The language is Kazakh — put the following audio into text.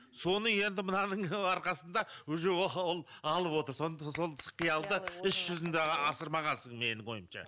соны енді мынаның арқасында уже алып отыр қиялды іс жүзінде асырмағансың менің ойымша